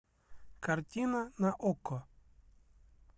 картина на окко